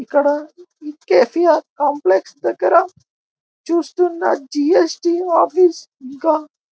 ఇక్కడ KCR complex దగ్గర చూస్తున్న జీఎస్టీ ఆఫీస్ ఇక్కడ.